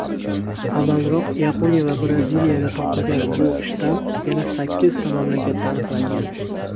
Avvalroq Yaponiya va Braziliyada topilgan bu shtamm yana sakkizta mamlakatda aniqlangan.